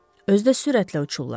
Özü də sürətlə uçurlar.